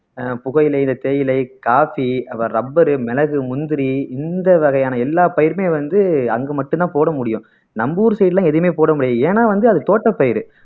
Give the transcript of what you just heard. புகையிலை இந்த தேயிலை, காபி அப்புறம் rubber மிளகு, முந்திரி இந்த வகையான எல்லா பயிருமே வந்து அங்கு மட்டும்தான் போட முடியும் நம்ம ஊர் side லாம் எதுவுமே போட முடியாது ஏன்னா வந்து அது தோட்ட பயிர்